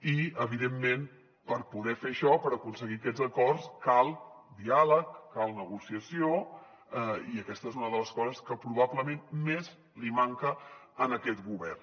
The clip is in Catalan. i evidentment per poder fer això per aconseguir aquests acords cal diàleg cal negociació i aquesta és una de les coses que probablement més li manca a aquest govern